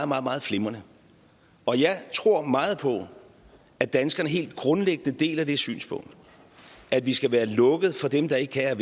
meget meget flimrende og jeg tror meget på at danskerne helt grundlæggende deler det synspunkt at vi skal være lukket for dem der ikke kan